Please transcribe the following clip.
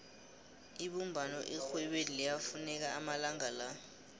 ibumbano erhwebeni liyafuneka amalanga la